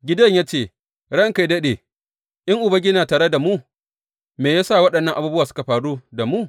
Gideyon ya ce, Ranka yă daɗe, in Ubangiji yana tare da mu, me ya sa waɗannan abubuwa suka faru da mu?